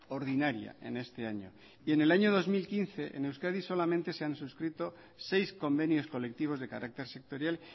ordinaria en este año y en el año dos mil quince en euskadi solamente se han suscrito seis convenios colectivos de carácter sectorial